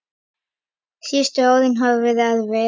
Síðustu árin hafa verið erfið.